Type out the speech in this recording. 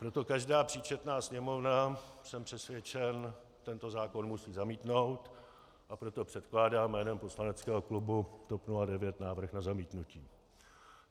Proto každá příčetná sněmovna, jsem přesvědčen, tento zákon musí zamítnout, a proto předkládám jménem poslaneckého klubu TOP 09 návrh na zamítnutí.